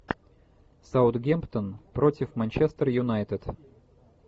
саутгемптон против манчестер юнайтед